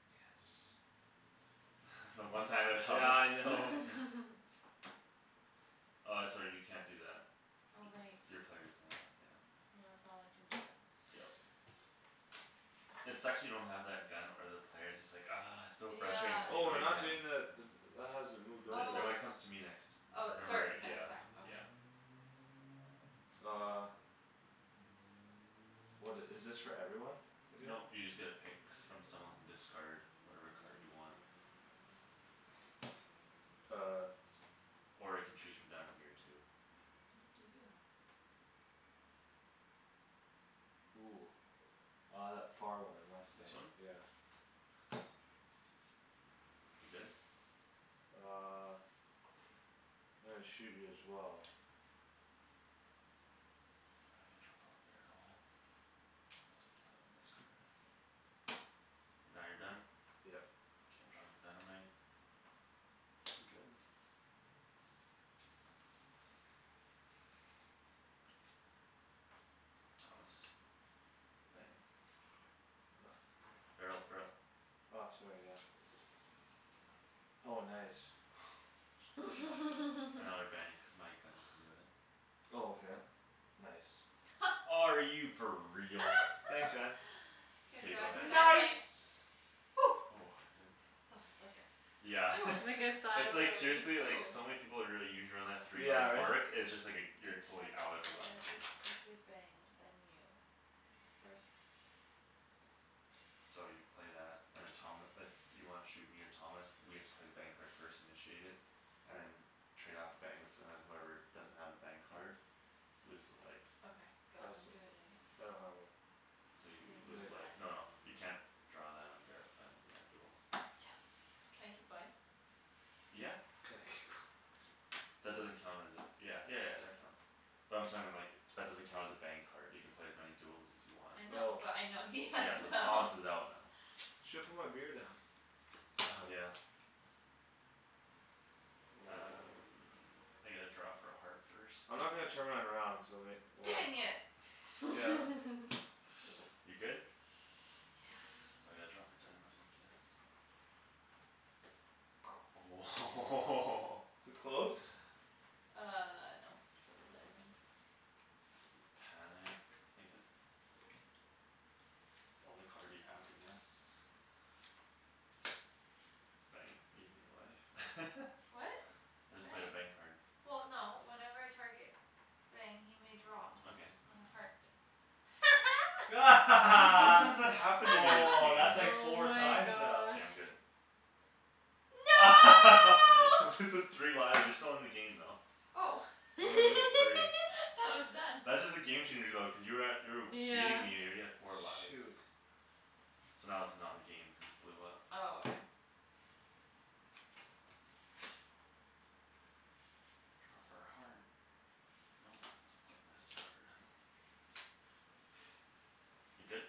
Yes. The one time it helps. Yeah, I know. Uh, sorry, you can't do that. Oh, right. Y- your player doesn't allow it, yeah. Well, that's all I can do then. Yep. It sucks when you don't have that gun or the player; it's just like, argh. It's just so frustrating Yeah. cuz you Oh, know we're you not can. doing the d- d- that hasn't moved over, Th- no, Oh. right? it comes to me next. Oh, it Remember, Oh. starts yeah. next time. Okay. Yeah. Uh. What i- is this for everyone again? Nope, you just get to pick Pick from someone. someone's and discard whatever card you want. Uh. Or you can choose from down here too. What do you have? Ooh. Uh, that far one, This mustang. one? Yeah. You're good? Uh. I'm gonna shoot you as well. Uh, I gotta draw for a barrel? I also have to play my miss card. Now you're done? Yep. K, I'm drawing for dynamite. I'm good. Thomas. Bang. Nothing. Barrel, barrel. Ah, sorry, yeah. Oh, nice. Oh my gosh. Another bang cuz my gun can do it. Oh, okay. Nice. Are you for real? Thanks, man. K, I'm K, go drawing for ahead. dynamite. Nice! Oh, good. That was like a Yeah. Like a sigh It's of like relief. seriously, like, Ooh. so many people would really three Yeah, life right? mark; it's just like a, A you're totally out target if it player lands on you. discards a bang, then you. First player to discard So you play that and then Tom, if you wanna shoot me or Thomas, we have to play bang card first, initiate it. And then trade off bangs, and then whoever doesn't have a bang card Loses a life. Okay, go. I I'm see. doing it against I you. don't have one. So you So you lose lose a life. life, no, no, you can't draw that on bar- on, yeah, duels. Yes. Can I keep going? Yeah. Can I keep going. That doesn't count as a, yeah, yeah yeah, that counts. But I'm like, that doesn't count as a bang card. You can play as many duels as you want. I know, Oh. but I know he has Yeah, so none. Thomas is out now. Shoulda put my beer down. Oh, yeah. Um, I get to draw for a heart first. I'm not gonna turn mine around cuz I'll ma- well Dang Why? it! Yeah. You're good? Yeah. So I gotta draw for dynamite, I guess. Oh Too close? Uh, no. Diamond. Panic, Megan. The only card you have, I guess. Bang. You lose a life. What? I just played a bang Bang. card. Well, no, whenever a target Bang, he may draw Okay. on a heart. How many Woah, times that happened to me this game? that's like Oh four my times now. K, gosh. I'm good. No! Loses three lives, you're still in the game, though. Oh. You only lose three. Thought it was done. That's just a game changer, though cuz you were at, you were w- beating Yeah. me, you're already at four lives. Shoot. So now this is not in the game, cuz it blew up. Oh, okay. Draw for a heart. Nope, so I'll play a missed card. You lose a life. You good?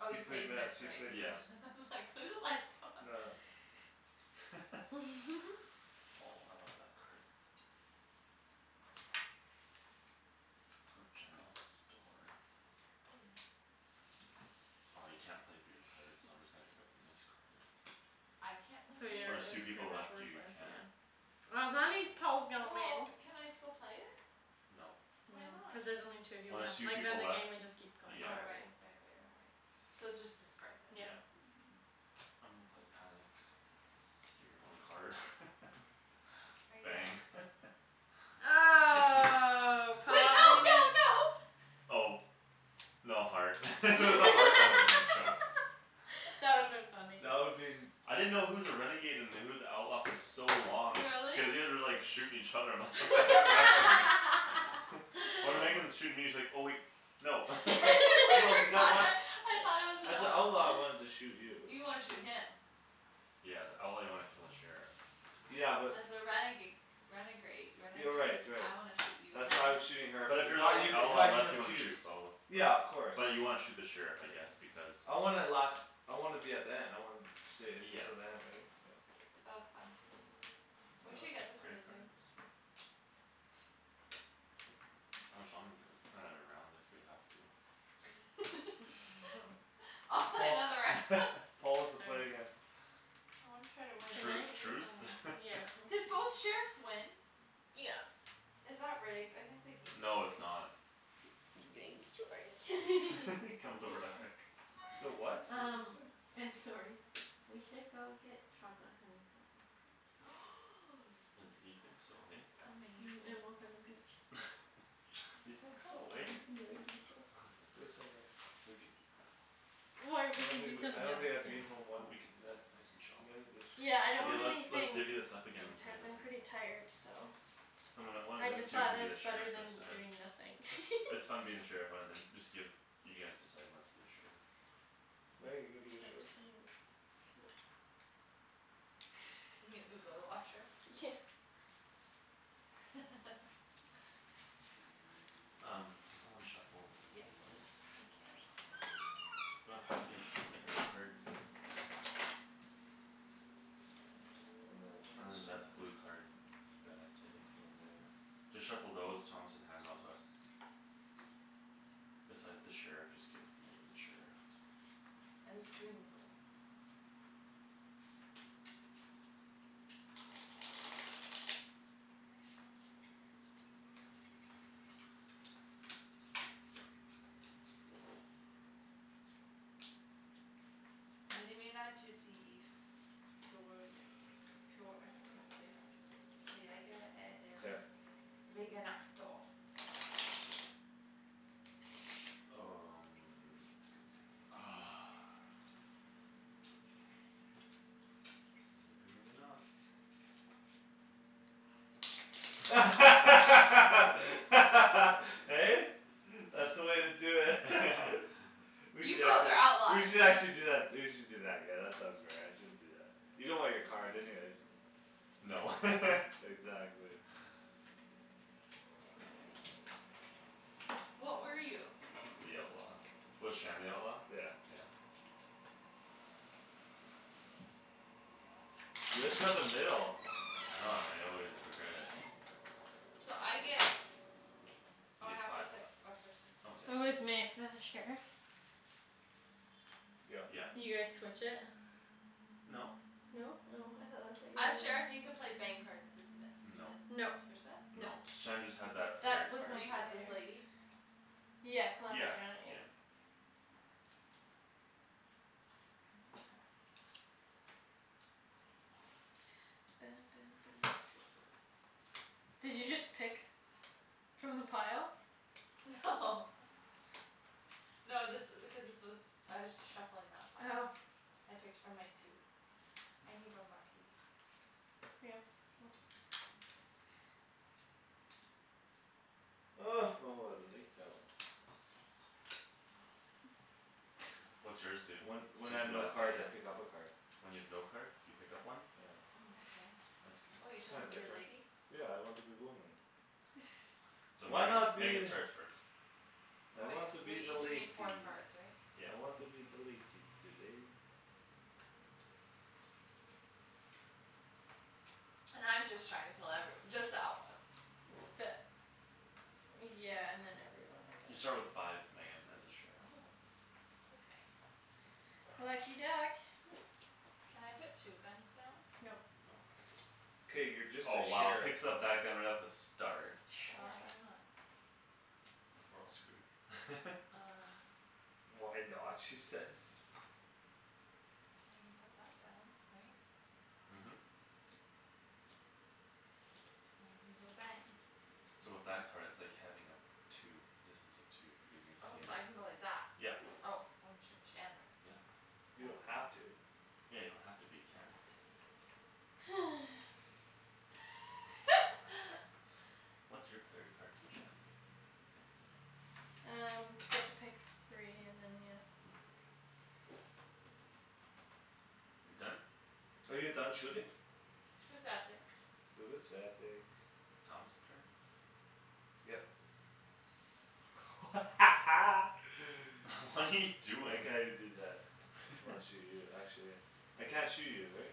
Oh, He you play played miss, missed, he right? played Yeah. miss. I'm like, "Lose a life, god." Nah. Oh, I love that card. Go general store. Oh. Ah, you can't play beer cards so I'm just gonna pick up the miss card. I can't play So beer When your, there's cards? two it's pretty people much left, you worthless, can't. yeah. Oh, so that means Paul's gonna Well, win. can I still play it? Nope. No, Why cuz not? there's only two of you When there's left. two Like, then people the left, game would just keep going yeah. Oh, forever. right. Right right right right.. So it's just discard then. Yeah. Yeah. I'm gonna play panic. Gimme your only card. Are you Bang. done? Oh, Wait, no, no, Paul no! Oh. No heart. If it was a heart, I woulda been choked. That would've been funny. That would been I didn't know who was a renegade and who was the outlaw for so long. Really? Cuz you guys were, like, shooting each other, I'm like, "What the heck is happening?" When Outlaw. Megan's shooting me, it's like, oh wait, no. No, cuz I want I thought I was an As a outlaw, I outlaw. wanted to shoot you. You wanna shoot him. Yeah, as a outlaw, you wanna kill the sheriff. Yeah, but. As a renega- renegrade, Yeah, renegade? right, right. I wanna shoot you and That's then why I her. was shooting her But f- if it you're the got you, only it outlaw got you left, you wanna shoot confused. both. Yeah, But, of course. but you wanna shoot the sheriff, I guess, because I wanna last, I wanna be at the end, I wanna stay Yeah. till the end, right? Yeah. That was fun. It We Uh, was. should get this player game, babe. cards? How much longer do we have? We can play another round if we have to. I'll play Paul, another round. Paul wants to All play right. again. Well, I'm try to win, Can Tru- that I? was really truce? fun. Yeah, Did okay. both sheriffs win? Yeah. Is that rigged? I think the game's No, it's rigged. not. sorry. comes over to hug. The what? What's Um it say? I'm sorry. We should go get chocolate honeycomb ice cream tonight. And, you That think so, hey? sounds amazing. Mhm, and walk on the beach. You Aw, that think sounds so, eh? nice. Yeah, I think so. Do it so much. We can do that. Or I we don't could think do w- I something don't else think I'd too. be in home Well, one, we can do that, one it's nice and chill. minute this Yeah, I don't Okay, want let's, let's anything divvy this up again and play intense, I'm pretty another. tired, so. Someone that- one of I them just two thought can that be the it's better sheriff this than time. doing nothing. It's fun being the sheriff, one of them, just give, you guys decide who wants to be the sheriff. Meg, are you gonna be the Except sheriff? I have go to the washroom. Um, can someone shuffle Yes, those? I can. You wanna pass me the green card? Yeah. And then And this then guy. that's blue card, you gotta take. Then there Just shuffle those, Thomas, and hand them out to us. Besides the sheriff, just give Megan the sheriff. El Gringo. I don't know how to say that. Mkay. Um, this guy. Ah. You're the renegade. Maybe, maybe not. Hey? That's the way to do it. We You should both actually, are we outlaws! should actually do that, we should do that again, that sounds fair, I shouldn't do that. You don't want your card anyways. No. Exactly. What were you? The outlaw. Was Shan the outlaw? Yeah. Yeah. You just got the middle. I know, and I always regret it. So I get You Oh, I get have to five life. pick a person. Oh, yeah, Who is Meg, yeah. the sheriff? Yep. Yeah. You guys Mhm. switch it? No. No? Oh, I thought that's what you As sheriff, you can were play bang cards as miss No. and Nope. vice versa? Nope. No. Shan just had that player That was card my You had this player. lady? Yeah, Calamity Yeah. Janet, yeah. Yeah. I want her. Did you just pick From the pile? No. No, this i- because this was I was shuffling that pile. Oh. I picked from my two. I need one more, please. Yeah. Thank you. Oh, oh, I like that one. What's yours do? When, when I have Suzy no cards, I Lafayette? pick up a card. When you have no cards, you pick up one? Yeah. Mm, that's nice. That's Oh, you good. chose Kinda to be a different. lady? Yeah, I want to be woman. So Why Megan, not Megan be starts first. I Oh, wait, want to we be the each latey. need four cards, right? Yeah. I want to be the latey today. And I'm just trying to kill everyo- just the outlaws. The Yeah, and then everyone, I You guess. start with five, Megan, as a sheriff. Oh. Okay. Lucky duck. Can I put two guns down? Nope. No. K, you're just the Oh, wow, sheriff. picks up that gun right off the start. Well, yeah, why Shocking. not? We're all screwed. Um. "Why not?" she says. Well, I can put that down, right? Mhm. go bang. So with that card, it's like having a two, distance of two, because you can Oh, see so him, I can go like that. yep. Oh, so I'm shooting Shandryn. Yep. You Bang, don't bang. have to. Yeah, you don't have to, but you I can. want to. What's your player card do, Shan? Um, get to pick three and then, yeah. Mm. You're done? Are you done shooting? Du bist fertig. Thomas' turn? Yep. What are you I doing? can't even do that. I wanna shoot you, actually. I can't shoot you, right?